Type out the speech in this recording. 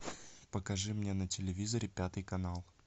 покажи мне на телевизоре пятый канал